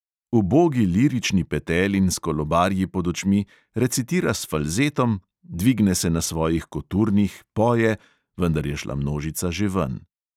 Ubogi lirični petelin s kolobarji pod očmi recitira s falzetom, dvigne se na svojih koturnih, poje, vendar je šla množica že ven.